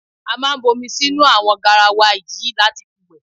A máa bu omi sínú àwo̩n garawa yìí láti fi wè̩.